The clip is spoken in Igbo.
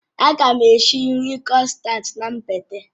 Aga m esi nri krossants na mgbede